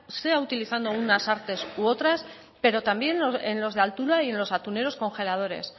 sea utilizando unas artes u otras pero también en los de altura y en los atuneros congeladores